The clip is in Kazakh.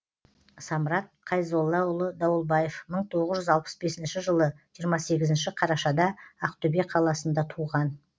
самрат қайзоллаұлы дауылбаев мың тоғыз жүз алпыс бесінші жылы жиырма сегізінші қарашада ақтөбе қаласында туған